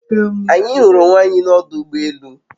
Anyi huru onwe anyi n'odu ugbo elu